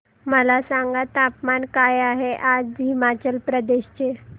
मला सांगा तापमान काय आहे आज हिमाचल प्रदेश चे